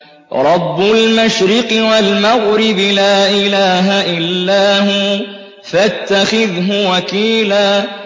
رَّبُّ الْمَشْرِقِ وَالْمَغْرِبِ لَا إِلَٰهَ إِلَّا هُوَ فَاتَّخِذْهُ وَكِيلًا